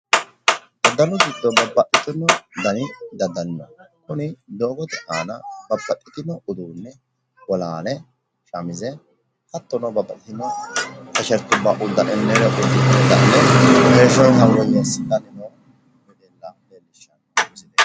Aganu giddo babbaxxitino dani daddali no. Kuni doogote aana babbaxxitino uduunne bolaale shamize hattono babbaxxitino tishertubba heeshshonsa woyyeessi'nanni noo wedella leellishshanno.